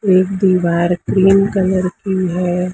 एक दीवार cream colour की है।